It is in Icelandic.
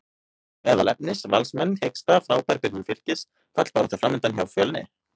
Meðal efnis: Valsmenn hiksta, Frábær byrjun Fylkis, fallbarátta framundan hjá Fjölni?